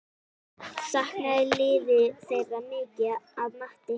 Saknaði liðið þeirra mikið að mati Heimis?